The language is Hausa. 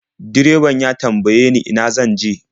Direban ya tambaye ni ina zan je.